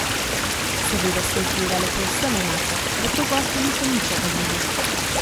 Seveda so izgledale povsem enako, zato gostje niso nič opazili.